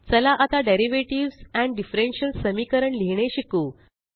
चला आता डेरिव्हेटिव्हज आणि डिफरन्शिअल समीकरण लिहीणे शिकू